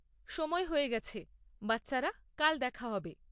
সময় হয়ে গেছে! বাচ্চারা, কাল দেখা হবে!